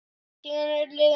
Síðan eru liðin mörg ár.